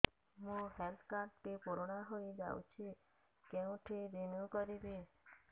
ମୋ health card ଟି ପୁରୁଣା ହେଇଯାଇଛି କେଉଁଠି ରିନିଉ କରିବି